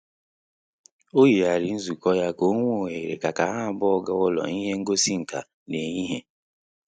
O yighariri nzukọ ya ka onwe ohere ka ka ha abụọ ịga ụlọ ihe ngosi nkà n'ehihie